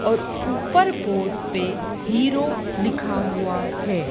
और ऊपर बोर्ड पे हीरो लिखा हुआ है।